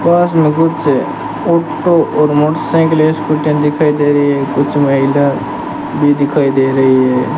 पास में कुछ ऑटो और मोटरसाइकिल स्कूटर दिखाई दे रही है कुछ महिला भी दिखाई दे रही है।